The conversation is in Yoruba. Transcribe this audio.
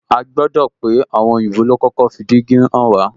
A gbodo pé àwọn òyìnbó lo kọ́kọ́ fi dígí hàn wá